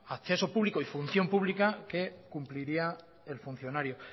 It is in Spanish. acceso público y función pública que cumpliría el funcionario